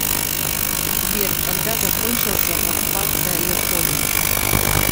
сбер когда закончился оккупация японии